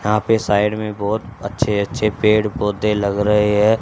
यहां पे साइड में बहुत अच्छे अच्छे पेड़ पौधे लग रहे है।